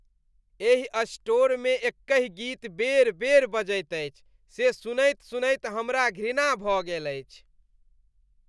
एहि स्टोरमे एकहि गीत बेर बेर बजबैत अछि से सुनैत सुनैत हमरा घृणा भऽ गेल अछि।